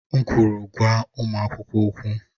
M kwụrụ, gwa ụmụ akwụkwọ okwụ!